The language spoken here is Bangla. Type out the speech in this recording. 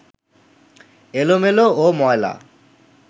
এলোমেলো ও ময়লা